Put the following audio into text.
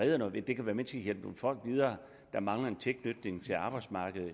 redder noget ved det kan være med til at hjælpe nogle folk videre der mangler en tilknytning til arbejdsmarkedet